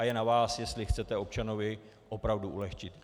A je na vás, jestli chcete občanovi opravdu ulehčit.